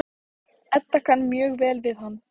Edda kann mjög vel við hann.